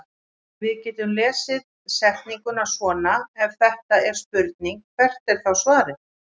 Við getum þá lesið setninguna svona: Ef þetta er spurning hvert er þá svarið?